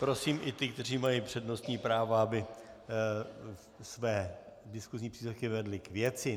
Prosím i ty, kteří mají přednostní právo, aby své diskusní příspěvky vedli k věci.